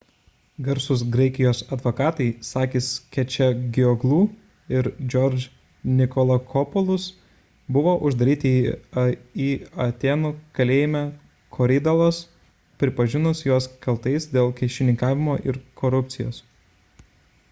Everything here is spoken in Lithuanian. garsūs graikijos advokatai sakis kechagioglou ir george nikolakopoulos buvo uždaryti atėnų kalėjime korydallos pripažinus juos kaltais dėl kyšininkavimo ir korupcijos